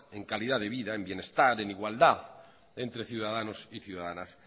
en calidad de vida en bienestar en igualdad entre ciudadanos y ciudadanas